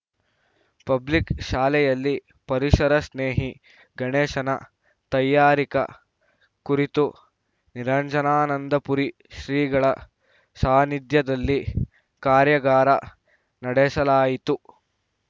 public ಶಾಲೆಯಲ್ಲಿ ಪರಿಸರ ಸ್ನೇಹಿ ಗಣೇಶನ ತಯಾರಿಕ ಕುರಿತು ನಿರಂಜನಾನಂದಪುರಿ ಶ್ರೀಗಳ ಸಾನಿಧ್ಯದಲ್ಲಿ ಕಾರ್ಯಗಾರ ನಡೆಸಲಾಯಿತು